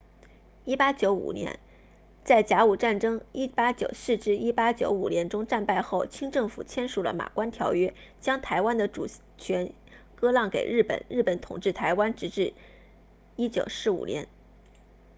1895年在甲午战争 1894-1895 年中战败后清政府签署了马关条约将台湾的主权割让给日本日本统治台湾直至1945年